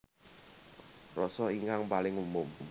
Rasa ingkang paling umum